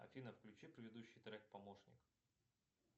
афина включи предыдущий трек помощник